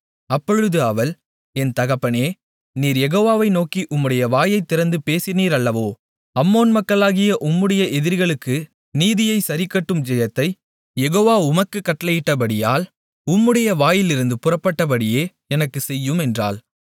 அப்பொழுது அவள் என் தகப்பனே நீர் யெகோவாவை நோக்கி உம்முடைய வாயைத் திறந்து பேசினீரல்லவோ அம்மோன் மக்களாகிய உம்முடைய எதிரிகளுக்கு நீதியைச் சரிக்கட்டும் ஜெயத்தைக் யெகோவா உமக்குக் கட்டளையிட்டபடியால் உம்முடைய வாயிலிருந்து புறப்பட்டபடியே எனக்குச் செய்யும் என்றாள்